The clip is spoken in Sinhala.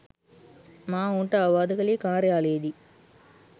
මා ඔවුන්ට අවවාද කළේ කාර්යාලයේදීයි.